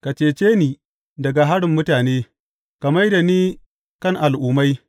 Ka cece ni daga harin mutane; ka mai da ni kan al’ummai.